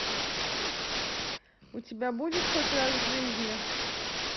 у тебя будет хоть раз в жизни